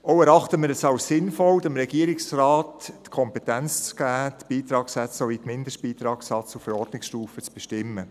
Auch erachten wir es als sinnvoll, dem Regierungsrat die Kompetenz zu geben, die Beitragssätze sowie die Mindestbeitragssätze auf Verordnungsstufe zu bestimmen.